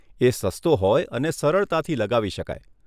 એ સસ્તો હોય અને સરળતાથી લગાવી શકાય.